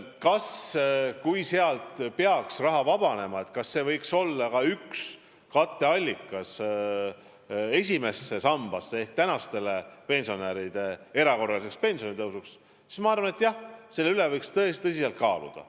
Kui on küsimus, kas sealt peaks raha vabanema ja kui vabaneb, siis kas see võiks olla üks katteallikas praeguste pensionäride pensionide erakorraliseks tõstmiseks, siis ma arvan, et seda võiks tõsiselt kaaluda.